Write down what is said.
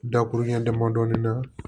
Dakuruɲa damadɔni na